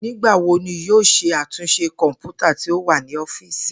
Nigbawo ni yoo ṣe atunṣe kọnputa ti o wa ni ọfiisi?